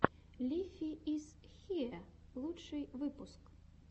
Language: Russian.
лифи из хиэ лучший выпуск